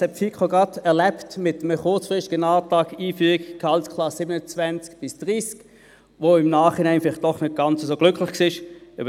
Die FiKo hat das gerade mit einem kurzfristigen Antrag auf Einführung der Gehaltsklassen 27–30 erlebt, der sich im Nachhinein vielleicht als doch nicht ganz so glücklich erweist.